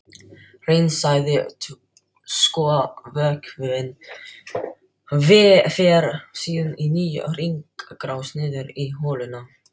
Hreinsaði skolvökvinn fer síðan í nýja hringrás niður í holuna.